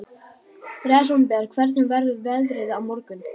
Rósenberg, hvernig verður veðrið á morgun?